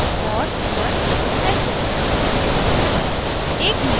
और inverse wedge hashes